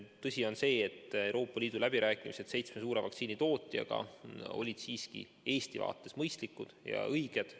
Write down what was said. Tõsi on see, et Euroopa Liidu läbirääkimised seitsme suure vaktsiinitootjaga olid siiski Eesti seisukohast mõistlikud ja õiged.